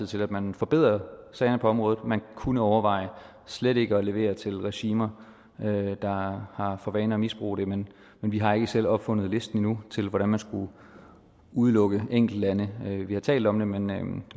til at man forbedrer sagerne på området man kunne overveje slet ikke at levere til regimer der har for vane at misbruge det men vi har ikke selv opfundet listen endnu til hvordan man skulle udelukke enkeltlande vi har talt om det men